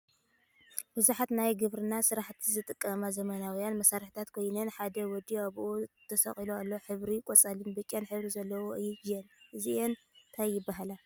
ብዙሓት ናይ ግብርና ስራሕቲ ዝጠቅማ ዘመናውያን መሳርሕታት ኮይነን ሓደ ወዲ ኣብኡ ተሰቂሉ ኣሎ ። ሕብረን ቆፃልን ቢጫን ሕብሪ ዘለዎ እየን እዚአን እንታይ ይበሃላ ?